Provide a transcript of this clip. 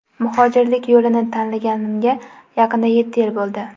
Muhojirlik yo‘lini tanlaganimga yaqinda yetti yil bo‘ldi.